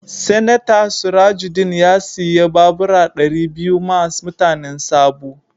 Seneta Surajudeen ya siya babura dari biyu ma mutanen Sabo.